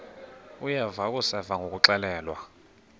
uyeva akuseva ngakuxelelwa